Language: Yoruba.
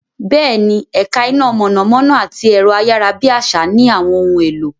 Bẹ́ẹ̀ni, ẹ̀ka iná mọ̀nàmọ́ná àti ẹ̀rọ-ayárabíàsá ní àwọn ohun èlò.